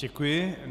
Děkuji.